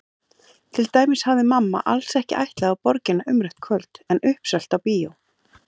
Til dæmis hafði mamma alls ekki ætlað á Borgina umrætt kvöld en uppselt á bíó.